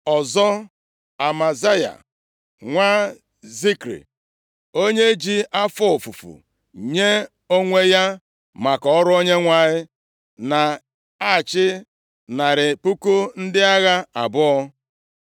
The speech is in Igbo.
ọzọ, Amasiya nwa Zikri, onye ji afọ ofufu + 17:16 Họpụtara nye onwe ya maka ọrụ Onyenwe anyị, na-achị narị puku ndị agha abụọ (200,000).